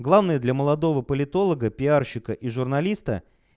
главные для молодого политолога пиарщика и журналиста